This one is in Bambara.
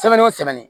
Sɛmɛni o sɛmɛni